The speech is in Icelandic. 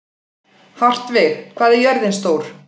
Hartvig, hvað er jörðin stór?